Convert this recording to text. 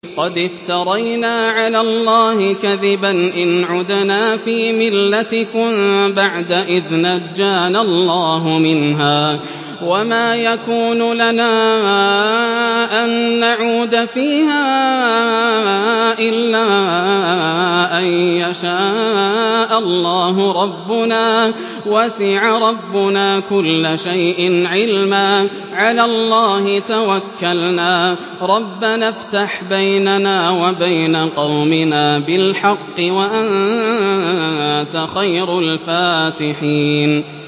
قَدِ افْتَرَيْنَا عَلَى اللَّهِ كَذِبًا إِنْ عُدْنَا فِي مِلَّتِكُم بَعْدَ إِذْ نَجَّانَا اللَّهُ مِنْهَا ۚ وَمَا يَكُونُ لَنَا أَن نَّعُودَ فِيهَا إِلَّا أَن يَشَاءَ اللَّهُ رَبُّنَا ۚ وَسِعَ رَبُّنَا كُلَّ شَيْءٍ عِلْمًا ۚ عَلَى اللَّهِ تَوَكَّلْنَا ۚ رَبَّنَا افْتَحْ بَيْنَنَا وَبَيْنَ قَوْمِنَا بِالْحَقِّ وَأَنتَ خَيْرُ الْفَاتِحِينَ